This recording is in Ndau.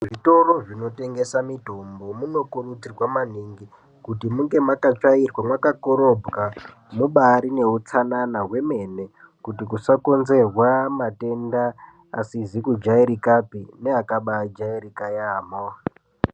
Zvitoro zvinotengesa mitombo munokurudzirwa maningi kuti munge makatsvairwa makakorobwa mubarine utsanana hwwemene. Kuti kusakonzerwa matenda asizi kujairikapi neakabajairika yaamho.